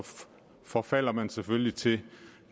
forfalder man selvfølgelig til